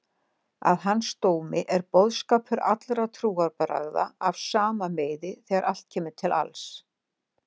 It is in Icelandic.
Að hans dómi er boðskapur allra trúarbragða af sama meiði þegar allt kemur til alls.